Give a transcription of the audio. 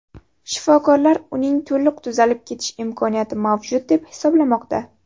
Shifokorlar uning to‘liq tuzalib ketish imkoniyati mavjud deb hisoblamoqda.